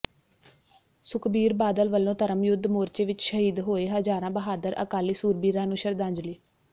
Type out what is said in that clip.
ਸੁਖਬੀਰ ਬਾਦਲ ਵੱਲੋਂ ਧਰਮ ਯੁੱਧ ਮੋਰਚੇ ਵਿੱਚ ਸ਼ਹੀਦ ਹੋਏ ਹਜ਼ਾਰਾਂ ਬਹਾਦਰ ਅਕਾਲੀ ਸੂਰਬੀਰਾਂ ਨੂੰ ਸ਼ਰਧਾਂਜਲੀ